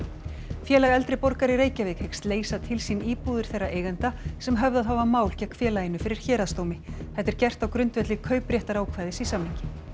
félag eldri borgara í Reykjavík hyggst leysa til sín íbúðir þeirra eigenda sem höfðað hafa mál gegn félaginu fyrir héraðsdómi þetta er gert á grundvelli kaupréttarákvæðis í samningi